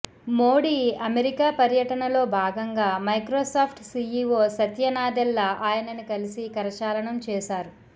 Modi America పర్యటనలో భాగంగా Microsoft CEO Satya Nadella ఆయనని కలిసి కరచాలనం చేశారు